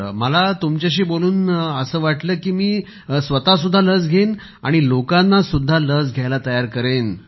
मला तुमच्याशी बोलून मला असे वाटले की मी स्वतःही लस घेईन आणि लोकांनाही लस घ्यायला तयार करेन